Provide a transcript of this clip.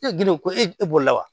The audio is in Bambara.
E girin ko e bolo la wa